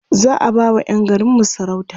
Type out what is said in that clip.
za'a ba wa Yan garinmu sarauta